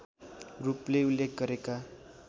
रूपले उल्लेख गरेका